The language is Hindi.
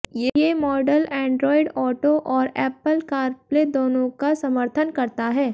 ये मॉडल एंड्रॉइड ऑटो और ऐप्पल कारप्ले दोनों का समर्थन करता है